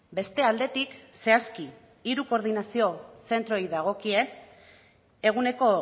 beste aldetik zehazki hiru koordinazio zentroei dagokie eguneko